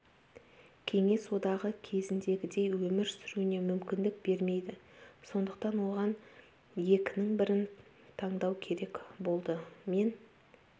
кеңес одағы кезіндегідей өмір сүруіне мүмкіндік бермейді сондықтан оған екінің бірін таңдау керек болды мен